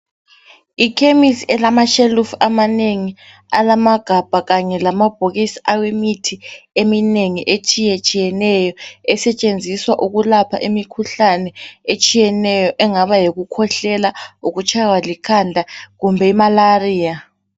yikhemesi elamashelufu amanengi elamagabha kanye lamabhokisi awemithi eminengi etshiyetshiyeneyo esetshenziswa ukulapha imikhuhlane etshiyeneyo engaba yikukhwehlela yikutshaywa likhanda kumbe i malaria